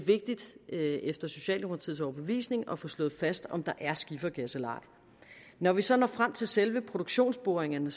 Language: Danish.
efter socialdemokratiets overbevisning vigtigt at få slået fast om der er skifergas eller ej når vi så når frem til selve produktionsboringerne